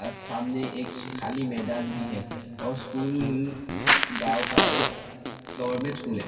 और सामने एक खाली मैदान भी है और स्कूल गांव का एक गवर्नमेंट स्कूल है।